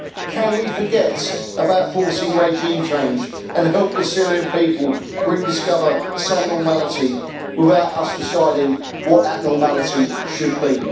Can we forget about forcing regime change and help the Syrian people rediscover some normality, without us deciding what that normality should be?